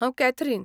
हांव कॅथरीन